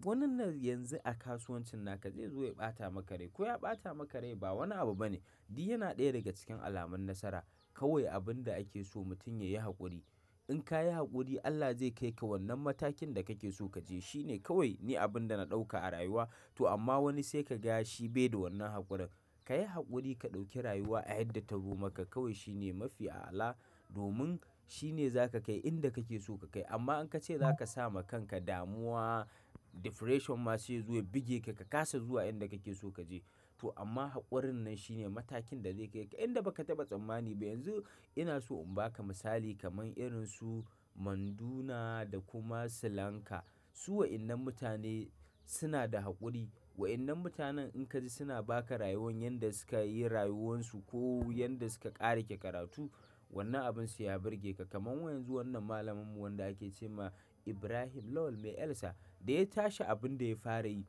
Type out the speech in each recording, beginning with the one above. wannan yanzu a kasuwancin naka zai zo ya ɓata maka rai. Ko ya ɓata maka rai ba wani abu bane. Di yana ɗaya daga cikin alamun nasara. Kawai abin da ake so mutum ya yi haƙuri. In ka yi haƙuri Allah zai kai ka wannan matakin da kake so ka je. Shi ne kawai ne abin da na ɗauka a rayuwa. To amma wani sai ka ga shi baida wannan haƙurin. Ka yi haƙuri ka ɗauki rayuwa a yanda ta zo maka kawai shi ne mafi a'ala domin shi ne za ka kai inda kake so ka kai. Amma in ka ce za ka sa ma kanka damuwa, depression ma sai ya zo ya buge ka, ka kasa zuwa inda kake so kaje. To amma haƙurin nan shi ne matakin da zai kai ka inda baka taɓa tsammani ba. Yanzu ina so in ba ka misali kamar irin su Manduna da kuma Slanka. Su wa'innan mutane suna da haƙuri. Wa'innan mutanen in ka ji suna ba ka rayuwan yanda suka yi rayuwansu ko yanda suka ƙare ƙe karatu wannan abin sai ya burge ka. Kaman wa yanzu wannan malaminmu wanda ake ce ma Ibrahim Lawal Mai Elsa da ya tashi abin da ya fara yi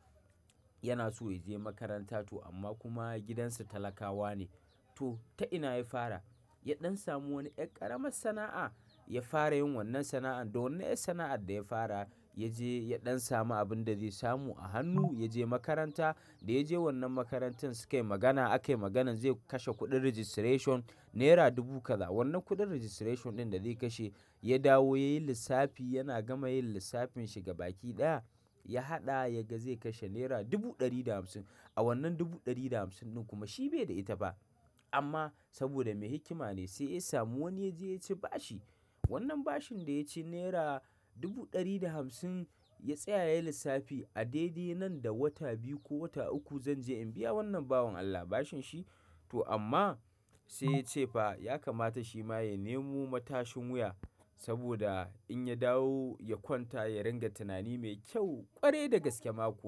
yana so ya je makaranta to amma kuma gidansu talakawa ne. To ta ina ya fara? Ya ɗan samu wani ƴar ƙaramar sana'a ya fara yin wannan sana'ar da wannan ƴar sana'ar da ya fara ya je ya ɗan samu abin da zai samu a hannu ya je makaranta. Da ya je wannan makarantar su kai magana akai maganan zai kashe kuɗin registration naira dubu kaza. Wannan kuɗin registration ɗin da zai kashe ya dawo ya yi lissafi yana gama yin lissafin shi gabaƙi ɗaya ya haɗa ya ga zai kashe naira dubu ɗari da hamsin. A wannan dubu ɗari da hamsin din kuma shi bai da ita fa amma saboda mai hikima ne sai ya samu wani ya je ya ci bashi. Wannan bashin da ya ci naira dubu ɗari da hamsin ya tsaya ya yi lissafi a daidai nan da wata biyu ko wata uku zan je in biya wannan bawon Allah bashin shi. To amma sai ya ce fa ya kamata shi ma ya nemo matashin wuya saboda in ya dawo ya kwanta ya ringa tunani mai kyau ƙwarai da gaske ma kuwa.